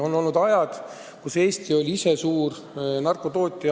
On olnud aegu, kui Eesti oli ise suur narkotootja.